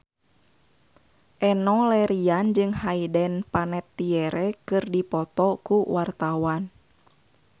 Enno Lerian jeung Hayden Panettiere keur dipoto ku wartawan